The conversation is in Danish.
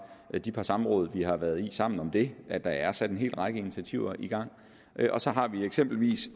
de par samråd som vi har været i sammen om det at der er sat en hel række initiativer i gang og så har vi eksempelvis